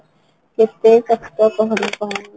କେତେ କଷ୍ଟ କହନା କହନା